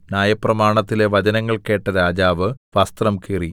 ന്യായപ്രമാണത്തിലെ വചനങ്ങൾ കേട്ട രാജാവ് വസ്ത്രം കീറി